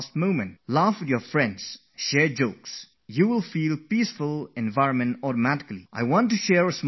Laugh a lot along with your friends, share jokes with them, and just see how a calm atmosphere is created on its own